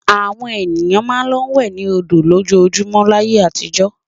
Àwọn ènìyàn máa ń lọ wẹ̀ ní odò lójoojúmọ́ láyé àtijọ́.